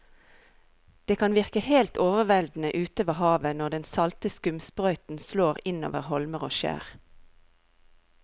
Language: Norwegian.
Det kan virke helt overveldende ute ved havet når den salte skumsprøyten slår innover holmer og skjær.